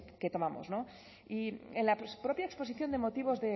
que tomamos y en la propia exposición de motivos